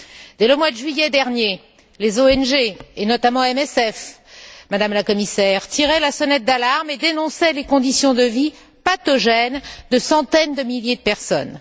Dès le mois de juillet dernier, les ONG, et notamment MSF, Madame la Commissaire, tiraient la sonnette d'alarme et dénonçaient les conditions de vie pathogènes de centaines de milliers de personnes.